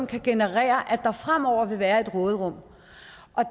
kan generere at der fremover vil være et råderum